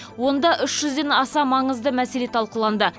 онда үш жүзден аса маңызды мәселе талқыланды